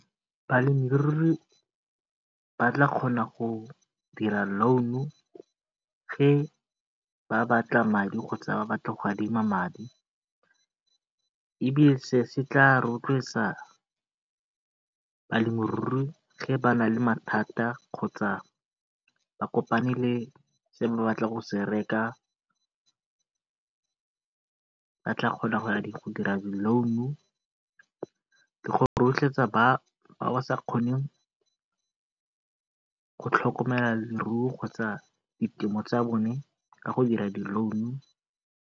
Balemirui ba tla kgona go dira loan-u ba batla madi kgotsa ba batla go adima madi, ebile se se tla rotloetsa balemirui ba na le mathata kgotsa ba kopane le se ba batlang go se reka, ba tla kgona go dira di loan-u go rotloetsa le ba ba sa kgoneng go tlhokomela leruo kgotsa ditemo tsa bone ka go dira di loan-u.